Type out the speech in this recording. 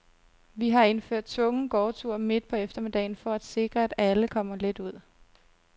Vi har indført tvungen gårdtur midt på eftermiddagen for at sikre, at alle kommer lidt ud.